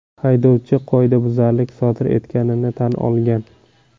Haydovchi qoidabuzarlik sodir etganini tan olgan.